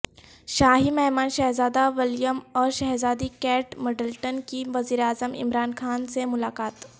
شاہی مہمان شہزادہ ولیم اور شہزادی کیٹ مڈلٹن کی وزیراعظم عمران خان سے ملاقات